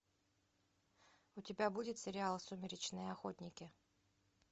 у тебя будет сериал сумеречные охотники